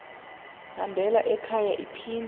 hambela ekhaya iphinda